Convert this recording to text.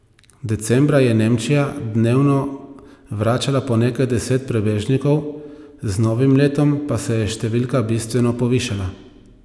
Decembra je Nemčija dnevno vračala po nekaj deset prebežnikov, z novim letom pa se je številka bistveno povišala.